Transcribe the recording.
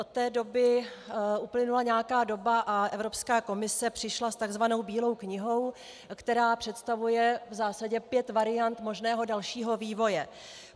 Od té doby uplynula nějaká doba a Evropská komise přišla s takzvanou Bílou knihou, která představuje v zásadě pět variant možného dalšího vývoje.